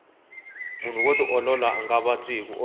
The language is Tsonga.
munhu wo tiolola anga vabyi hiku olova